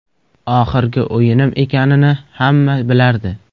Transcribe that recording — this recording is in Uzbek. Oxirgi o‘yinim ekanini hamma bilardi.